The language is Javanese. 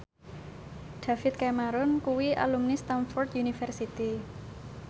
David Cameron kuwi alumni Stamford University